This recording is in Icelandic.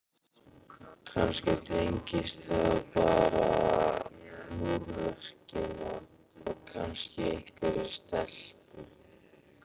kannski tengdist það bara múrverkinu og kannski einhverri stelpu.